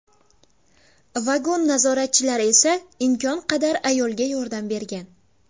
Vagon nazoratchilari esa imkon qadar ayolga yordam bergan.